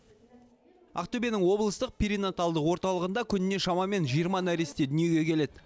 ақтөбенің облыстық перинаталдық орталығында күніне шамамен жиырма нәресте дүниеге келеді